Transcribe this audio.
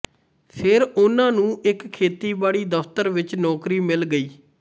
ਫਿਰ ਉਹਨਾਂ ਨੂੰ ਇੱਕ ਖੇਤੀਬਾੜੀ ਦਫਤਰ ਵਿੱਚ ਨੌਕਰੀ ਮਿਲ ਗਈ